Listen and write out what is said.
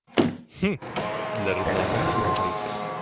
для разнообразия пойдёт